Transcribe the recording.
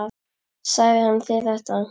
Sagði hann þér þetta?